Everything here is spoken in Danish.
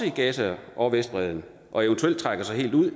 i gaza og vestbredden og eventuelt trækker sig helt ud